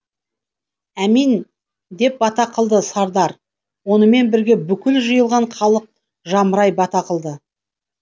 аминь деп бата қылды сардар онымен бірге бүкіл жиылған халық жамырай бата қылды